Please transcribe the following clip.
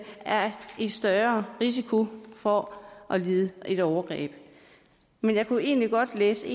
er i større risiko for at lide et overgreb og jeg kunne egentlig godt læse